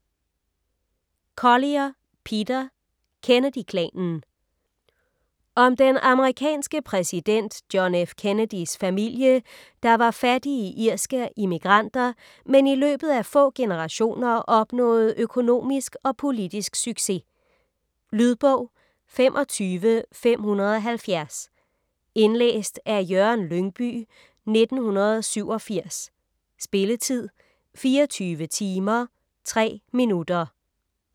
Collier, Peter: Kennedy-klanen Om den amerikanske præsident John F. Kennedys familie, der var fattige irske immigranter, men i løbet af få generationer opnåede økonomisk og politisk succes. Lydbog 25570 Indlæst af Jørgen Lyngbye, 1987. Spilletid: 24 timer, 3 minutter.